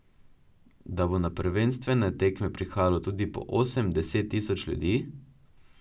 Da bo na prvenstvene tekme prihajalo tudi po osem, deset tisoč ljudi?